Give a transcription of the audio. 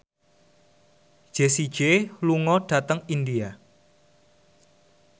Jessie J lunga dhateng India